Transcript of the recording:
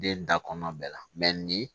Den da kɔnɔ bɛɛ la ni